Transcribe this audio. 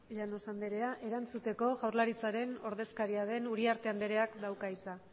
llanos andrea erantzuteko jaurlaritzaren ordezkaria den uriarte andreak dauka hitza